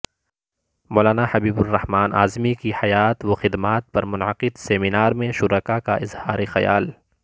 مولانا حبیب الرحمن اعظمی کی حیات وخدمات پر منعقدہ سمینار میں شرکاء کا اظہار خیال